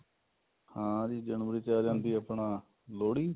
ਹਾਂ ਜੀ ਜਨਵਰੀ ਚ ਆ ਜਾਂਦੀ ਏ ਆਪਣਾ ਲੋਹੜੀ